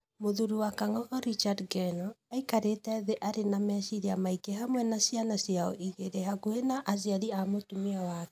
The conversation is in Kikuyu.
Mũthũũri wa Kangogo Richard Ngeno, aikarĩte thĩ arĩ na meciria maingĩ hamwe na ciana ciao igĩrĩ hakuhĩ na aciari a mũtũmia wake.